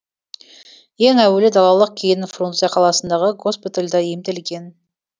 ең әуелі далалық кейін фрунзе қаласындағы госпитальда емделген